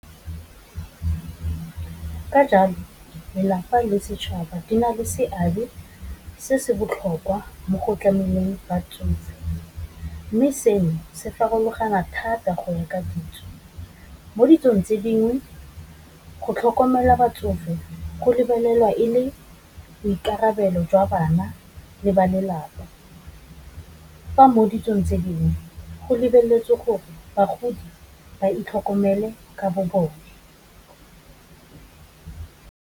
Ka jalo lelapa le setšhaba di na le seabe se se botlhokwa mo go tlameleng batsofe, mme seno se farologana thata go ya ka ditso. Mo ditsong tse dingwe, go tlhokomela batsofe go lebelelwa e le boikarabelo jwa bana le ba lelapa, fa mo ditsong tse dingwe go lebeletswe gore bagodi ba itlhokomele ka bo bone.